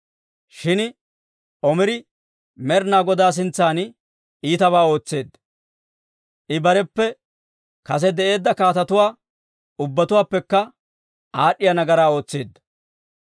Shin Omiri Med'inaa Godaa sintsan iitabaa ootseedda; I bareppe kase de'eedda kaatetuwaa ubbatuwaappekka aad'd'iyaa nagaraa ootseedda.